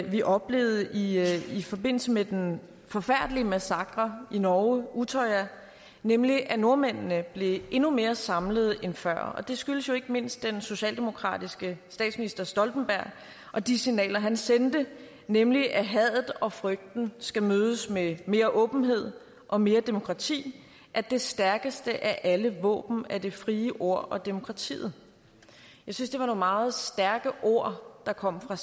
vi oplevede i i forbindelse med den forfærdelige massakre på i norge nemlig at nordmændene blev endnu mere samlede end før det skyldtes jo ikke mindst den socialdemokratiske statsminister stoltenberg og de signaler han sendte nemlig at hadet og frygten skal mødes med mere åbenhed og mere demokrati at det stærkeste af alle våben er det frie ord og demokratiet jeg synes det var nogle meget stærke ord der kom fra